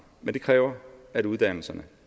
men det kræver at uddannelserne